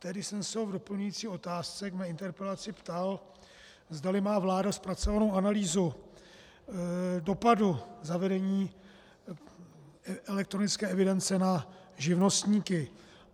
Tehdy jsem se ho v doplňující otázce ke své interpelaci ptal, zdali má vláda zpracovanou analýzu dopadu zavedení elektronické evidence na živnostníky.